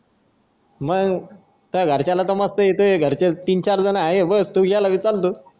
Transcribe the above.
मग काय घरच्यांना मस्त घरचे येतो तीन चार जण आहे तू बस मी चालतो